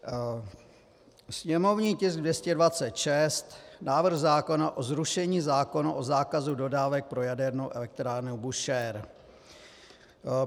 Sněmovní tisk 226, návrh zákona o zrušení zákona o zákazu dodávek pro jadernou elektrárnu Búšehr.